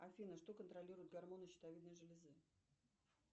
афина что контролирует гормоны щитовидной железы